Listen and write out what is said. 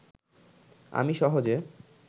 আমি সহজে